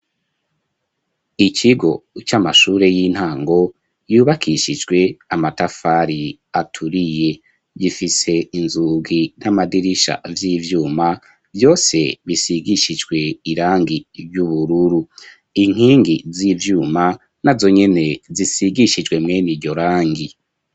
Ikigo, c'amashure y'intango, yubakishijwe, amatafari aturiye; gifise inzugi, n'amadirisha, vy'ivyuma, vyose bisigishijwe, irangi ry'ubururu; inkingi z'ivyuma, nazo nyene, zisigishijwe, mwene iryo rangi.